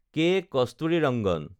ক. কস্তুৰীৰংগন